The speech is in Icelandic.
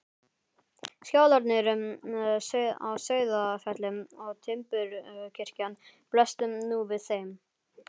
Skálarnir á Sauðafelli og timburkirkjan blöstu nú við þeim.